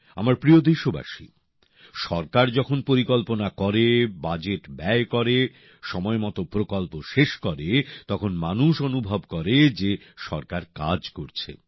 আমার প্রিয় দেশবাসী সরকার যখন পরিকল্পনা করে বাজেট বরাদ্দ করে সময়মতো প্রকল্প শেষ করে তখন মানুষ অনুভব করে যে সরকার কাজ করছে